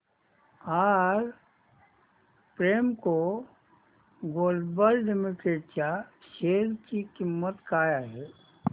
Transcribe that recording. आज Premco global limited च्या share ची किंमत काय आहे